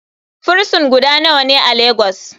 Frison guda nawane a lagos?